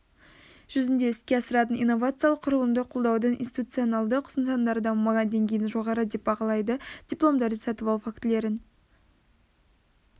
жүзінде іске асыратын инновациялық құрылымды қолдаудың институционалды нысандары дамымаған деңгейін жоғары деп бағалайды дипломдарды сатып алу фактілерін